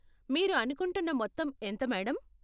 మీరు అనుకుంటున్న మొత్తం ఎంత మేడం?